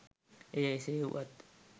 එය එසේ වුවත්